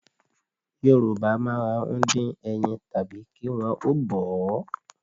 Yorùbá máa ń dín ẹyin tàbí kí wọn ó bọ̀ ọ́